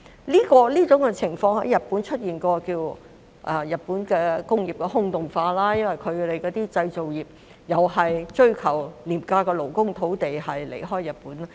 這種情況曾在日本出現，被稱為日本工業的"空洞化"，因為其製造業同樣追求廉價勞工和土地，遷離了日本。